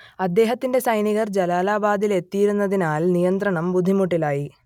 അദ്ദേഹത്തിന്റെ സൈനികർ ജലാലാബാദിലെത്തിയിരുന്നതിനാൽ നിയന്ത്രണം ബുദ്ധിമുട്ടിലായി